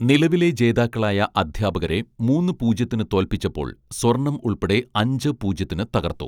നിലവിലെ ജേതാക്കളായ അദ്ധ്യാപകരെ മൂന്ന് പൂജ്യത്തിന് തോൽപ്പിച്ചപ്പോൾ സ്വർണ്ണം ഉൾപ്പെടെ അഞ്ച് പൂജ്യത്തിന് തകർത്തു